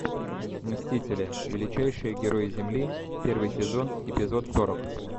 мстители величайшие герои земли первый сезон эпизод сорок